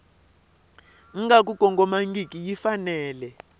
nga ku kongomangiki yi fanele